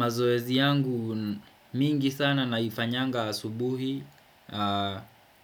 Mazoezi yangu mingi sana naifanyanga asubuhi